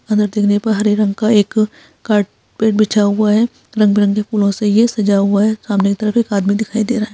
अंदर देखने पर हरे रंग का एक कारपेट बिछा हुआ है रंग-बिरंग फूलों से यह सजा हुआ है सामने की तरफ एक आदमी दिखाई दे रहा है।